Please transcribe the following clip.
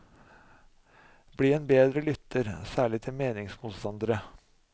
Bli en bedre lytter, særlig til meningsmotstandere.